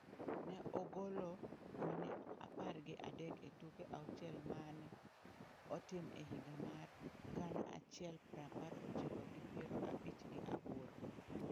Ne ogolo gone apar gi adek e tuke auchiel ma ne otim e higa mar gana achiel prapar ochiko gi piero abich gi aboro.